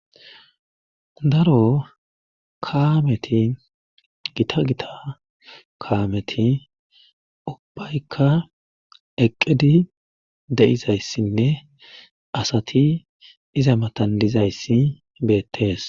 daro kaameti gita gita kaameti ubbaykka eqqidi de7izayssinne asati iza matandizayssi beettees